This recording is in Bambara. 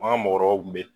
An ka mɔgɔkɔrɔbaw kun bɛ